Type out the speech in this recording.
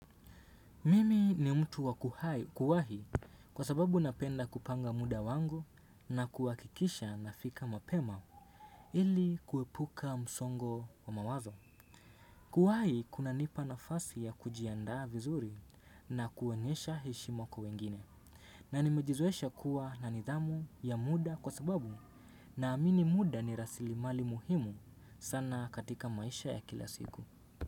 Mimi ni mtu wa kuwahi kwa sababu napenda kupanga muda wangu na kuhakikisha nafika mapema ili kuepuka msongo wa mawazo. Kuwahi kunanipa nafasi ya kujiandaa vizuri na kuonyesha heshima kwa wengine na nimejizoesha kuwa na nidhamu ya muda kwa sababu naamini muda ni rasilimali muhimu sana katika maisha ya kila siku.